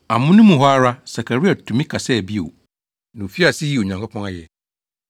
Amono mu hɔ ara, Sakaria tumi kasaa bio, na ofii ase yii Onyankopɔn ayɛ.